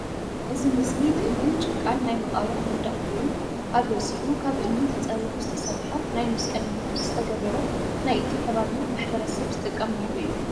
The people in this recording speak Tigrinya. እዚ ምስሊ ብእምንን ጭቃን ናይ መቃብር መንድቕ ኮይኑ ኣብ ርእሲኡ ካብ እምኒ ተጸሪቡ ዝተሰርሐ ናይ መስቀል ምልክት ዝተገበሮ ናይ እቲ ከባቢ ማሕበረሰብ ዝጥቀመሉ እዩ።